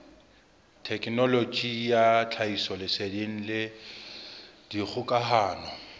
thekenoloji ya tlhahisoleseding le dikgokahano